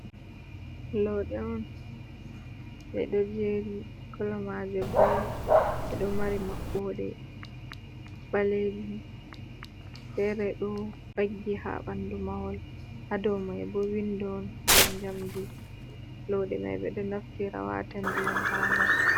Lodde on ɓe ɗo jeri kolo maje blu ɓe ɗo mari maɓɓode ɓalejum, fere ɗo vaggi ha ɓandu mahol ha domai bo windo on de jamdi loɗɗe mai ɓe ɗo naftira wata ndiyam ha ndar,